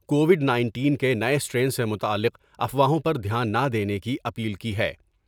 Covid nineteen کے نئے strain سے متعلق افواہوں پر دھیان نہ دینے کی اپیل کی ہے ۔